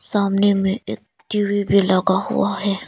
सामने में एक टी_वी भी लगा हुआ है।